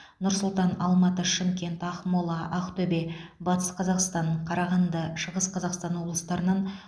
нұр сұлтан алматы шымкент ақмола ақтөбе батыс қазақстан қарағанды шығыс қазақстан облыстарынан